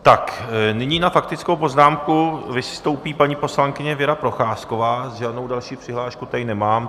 Tak nyní na faktickou poznámku vystoupí paní poslankyně Věra Procházková, žádnou další přihlášku tady nemám.